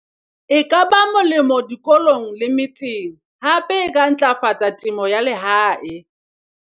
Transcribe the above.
e ka ba molemo dikolong le metseng hape e ka ntlafatsa temo ya lehae.